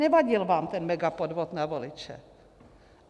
Nevadil vám ten megapodvod na voliče.